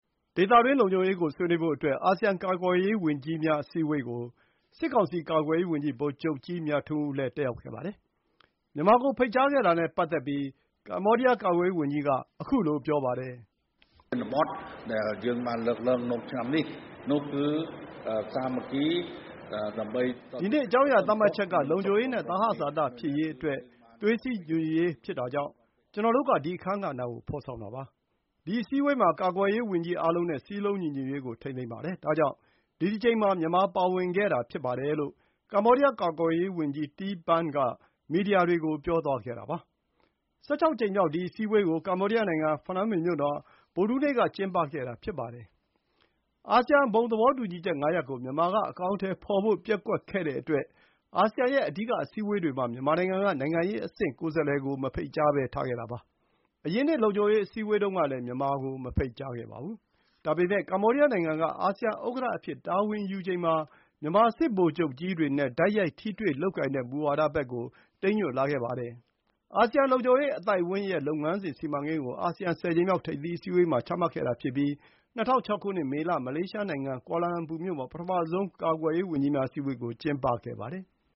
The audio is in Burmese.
ဒေသတွင်း လုံခြုံရေး ကို ဆွေးနွေးဖို့အတွက် အာဆီယံ ကာကွယ်ရေး ဝန်ကြီးများ အစည်းအဝေး ကို စစ်ကောင်စီ ကာကွယ်ရေး ဝန်ကြီး ဗိုလ်ချုပ်ကြီး မြထွန်းဦး လည်း တက်ရောက်ခဲ့ပါတယ်။ မြန်မာ ကို ဖိတ်ကြားခဲ့တာ နဲ့ ပတ်သက်ပြီး ကမ္ဘောဒီးယား ကာကွယ်ရေး ဝန်ကြီး က ခုလို ပြောပါတယ်။ “ဒီနှစ် အကြောင်းအရာ သတ်မှတ်ချက် က လုံခြုံရေး နဲ့ သဟဇာတ ဖြစ်ရေးအတွက် သွေးစည်းညီညွတ်ရေး ဖြစ်တဲ့အတွက် ကျနော်တို့ က ဒီ အခန်းကဏ္ဍ ကို ဖော်ဆောင်တာပါ။ ဒီ အစည်းအဝေးမှာ ကာကွယ်ရေး ဝန်ကြီးအားလုံး နဲ့ စည်းလုံးညီညွတ်ရေး ကို ထိန်းသိမ်းပါတယ်။ ဒါကြောင့် ဒီတကြိမ်မှာ မြန်မာ ပါဝင်ခဲ့တာ ဖြစ်တယ်” လို့ ကမ္ဘောဒီးယား ကာကွယ်ရေး ဝန်ကြီး Tea Banh က မီဒီယာတွေ ကို ပြောသွားတာပါ။ ၁၆ ကြိမ်မြောက် ဒီ အစည်းအဝေး ကို ကမ္ဘောဒီးယား နိုင်ငံ ဖနွမ်းပင်မြို့တော် မှာ ဗုဒ္ဓဟူးနေ့ က ကျင်းပခဲ့တာဖြစ်ပါတယ်။ အာဆီယံ ဘုံသဘောတူညီချက် ၅ ရပ် ကို မြန်မာ က အကောင်အထည်ဖော်ဖို့ ပျက်ကွက်တဲ့အတွက် အာဆီယံ ရဲ့ အဓိက အစည်းအဝေးတွေ မှာ မြန်မာနိုင်ငံ က နိုင်ငံရေး အဆင့် ကိုယ်စားလှယ် ကို မဖိတ်ကြားဘဲထားခဲ့တာပါ။ အရင်နှစ် လုံခြုံရေး အစည်းဝေးတုန်းကလည်း မြန်မာ ကို မဖိတ်ကြားခဲ့ပါဘူး။ ဒါပေမယ့် ကမ္ဘောဒီးယား နိုင်ငံ က အာဆီယံ ဥက္ကဋ္ဌအဖြစ် တာဝန်ယူချိန် မှာ မြန်မာ စစ်ဗိုလ်ချုပ်ကြီးတွေ နဲ့ တိုက်ရိုက် ထိတွေ့ လုပ်ကိုင်တဲ့ မူဝါဒဘက် ကို တိမ်းညွတ်ခဲ့ပါတယ်။ အာဆီယံလုံခြုံရေး အသိုက်အဝန်း ရဲ့ လုပ်ငန်းစဉ် စီမံကိန်း ကို အာဆီယံ ၁၀ ကြိမ်မြောက် ထိပ်သီး အစည်းအဝေး မှာ ချမှတ်ခဲ့တာ ဖြစ်ပြီး ၂၀၀၆ ခုနှစ် မေလ၊ မလေးရှား နိုင်ငံ ကွာလမ်လမ်ပူမြို့ မှာ ပထမဆုံး ကာကွယ်ရေး ဝန်ကြီးများ အစည်းအဝေး ကို ကျင်းပခဲ့ပါတယ်။